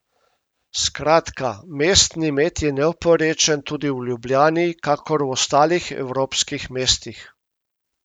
Skratka, mestni med je neoporečen tudi v Ljubljani, kakor v ostalih evropskih mestih.